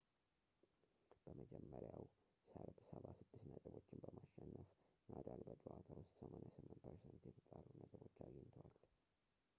በመጀመሪያው ሰርብ 76 ነጥቦችን በማሸነፍ ናዳል በጨዋታ ውስጥ 88% የተጣሩ ነጥቦች አግኝቷል